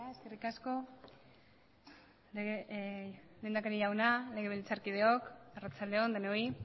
eskerrik asko lehendakari jauna legebiltzarkideok arratsalde on denoi